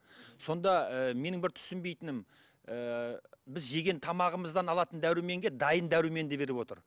сонда ііі менің бір түсінбейтінім ііі біз жеген тамағымыздан алатын дәруменге дайын дәруменді беріп отыр